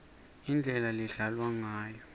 indlela ledlalwa ngayo